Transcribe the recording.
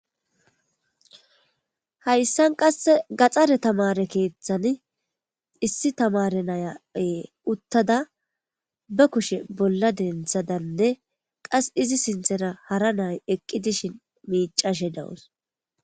Hayssan qasse gaxxare tamare keeththani issi tamare nayae uttada ba kushe bolla denthadanne qas izi sinthera hara nay eqqi dishin miicashe dawus